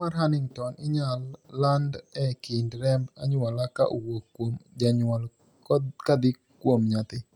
tuo mar Huntington inyal land e kind remb anyuola ka owuok kuom janyuol kadhi kuom nyathi